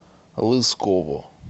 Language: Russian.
лысково